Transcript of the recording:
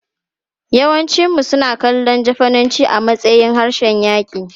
Yawancinmu suna kallon Jafananci a matsayin harshen yaƙi.